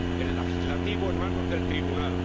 el legislativo, en manos del tribunal